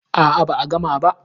A'a ba a gama ba.